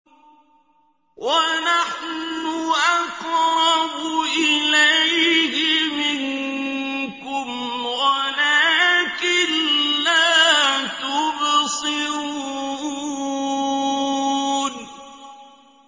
وَنَحْنُ أَقْرَبُ إِلَيْهِ مِنكُمْ وَلَٰكِن لَّا تُبْصِرُونَ